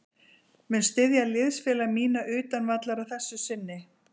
Mun styðja liðsfélaga mína utan vallar að þessu sinni.